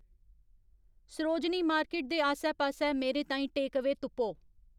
Sarojini market दे आस्सै पास्सै मेरे ताईं टेकअवेऽ तुप्पो